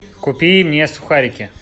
купи мне сухарики